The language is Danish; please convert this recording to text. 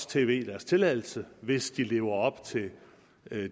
tv deres tilladelse hvis de lever op til